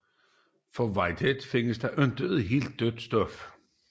For Whitehead findes der ikke helt dødt stof